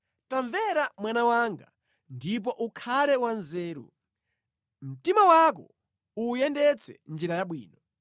Tamvera mwana wanga, ndipo ukhale wanzeru, mtima wako uwuyendetse mʼnjira yabwino.